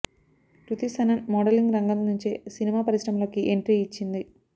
కృతి Sanon modelling రంగం నుంచే cinema పరిశ్రమలోకి ఎంట్రీ ఇచ్చింది